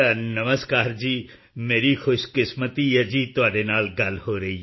ਨਮਸਕਾਰ ਜੀ ਮੇਰੀ ਖੁਸ਼ਕਿਸਮਤੀ ਹੈ ਜੀ ਤੁਹਾਡੇ ਨਾਲ ਗੱਲ ਹੋ ਰਹੀ ਹੈ